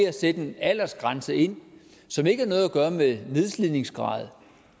at sætte en aldersgrænse ind som ikke har noget gøre med nedslidningsgrad